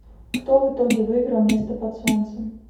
кто в итоге выиграл место под солнцем